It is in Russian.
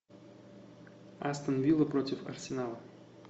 астон вилла против арсенала